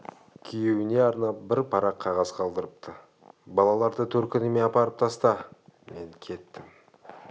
күйеуіне арнап бір парақ қағаз қалдырыпты балаларды төркініме апарып таста мен кеттім